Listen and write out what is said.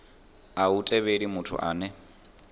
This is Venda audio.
a hu thivheli muthu ane